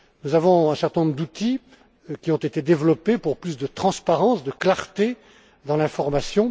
Nous avons un certain nombre d'outils qui ont été développés pour offrir plus de transparence et de clarté dans l'information.